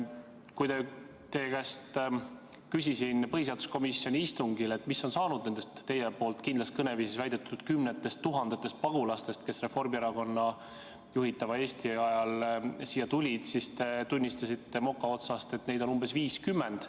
Kui ma teie käest põhiseaduskomisjoni istungil küsisin, mis on saanud nendest, nagu te kindlas kõneviisis väitsite, kümnetest tuhandetest pagulastest, kes Reformierakonna juhitud Eesti ajal siia tulid, siis te tunnistasite moka otsast, et neid on umbes 50.